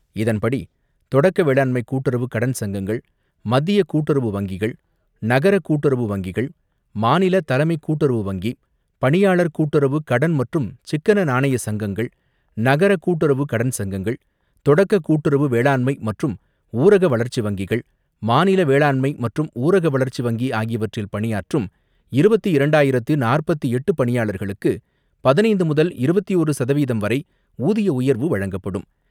இதன்படி, தொடக்க வேளாண்மை கூட்டுறவு கடன் சங்கங்கள், மத்திய கூட்டுறவு வங்கிகள், நகர கூட்டுறவு வங்கிகள், மாநில தலைமைக் கூட்டுறவு வங்கி, பணியாளர் கூட்டுறவு கடன் மற்றும் சிக்கன நாணய சங்கங்கள், நகர கூட்டுறவு கடன் சங்கங்கள், தொடக்க கூட்டுறவு வேளாண்மை மற்றும் ஊரக வளர்ச்சி வங்கிகள், மாநில வேளாண்மை மற்றும் ஊரக வளர்ச்சி வங்கி ஆகியவற்றில் பணியாற்றும் இருபத்து இரண்டாயிரத்து நாற்பத்தி எட்டு பணியாளர்களுக்கு பதினைந்து முதல் இருபத்தி ஒன்று சதவீதம் வரை ஊதிய உயர்வு வழங்கப்படும்.